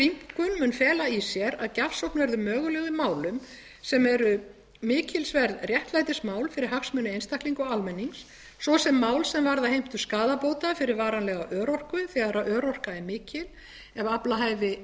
rýmkun mun fela í sér að gjafsókn verður möguleg í málum sem eru mikilsverð réttlætismál fyrir hagsmuni einstaklinga og almennings svo sem mál sem varða heimtingu skaðabóta fyrir varanlega örorku þegar örorka er mikil